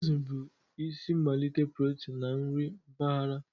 Azụ bụ isi mmalite protein na nri mpaghara.